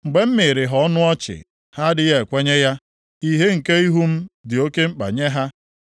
Mgbe m miiri ha ọnụ ọchị, ha adịghị ekwenye ya; ìhè nke ihu m dị oke mkpa nye ha.